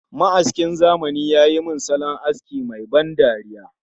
Ma'askin zamani ya yi min salon aski mai ban dariya